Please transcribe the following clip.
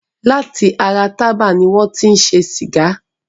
Lati ara Tába ni wọn ti ń ṣe Sìgá.